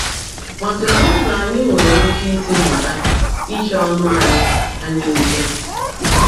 Ma kedụ ụzọ anyị nwere ike isi mụta iche ọnụ anyị anyị nche?